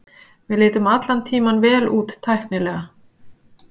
Við litum allan tímann vel út tæknilega.